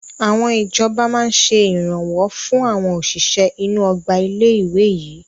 Àwọn ìjọba máa ṣe Ìrànwọ́ fún àwọn òṣìṣẹ́ inú Ọgbà ilé ìwé yìí